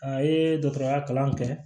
A ye dɔgɔtɔrɔya kalan kɛ